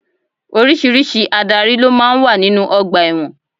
Oríṣiríṣi Ádárì ló máa ń wà nínú ọgbà ẹ̀wọ̀n.